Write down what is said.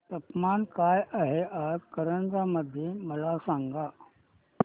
तापमान काय आहे आज कारंजा मध्ये मला सांगा